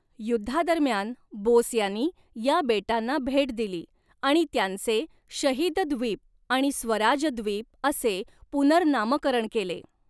युद्धादरम्यान बोस यांनी या बेटांना भेट दिली आणि त्यांचे 'शहीद द्वीप' आणि 'स्वराज द्वीप' असे पुनर्नामकरण केले.